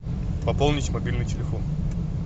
пополнить мобильный телефон